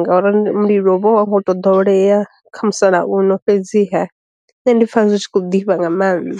ngauri mulilo vho a wu ngo to ḓoweleya kha musalauno fhedziha nṋe ndi pfa zwi tshi khou ḓifha nga maanḓa.